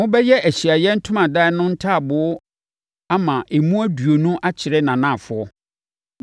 Mobɛyɛ Ahyiaeɛ Ntomadan no ntaaboo ama emu aduonu akyerɛ nʼanafoɔ.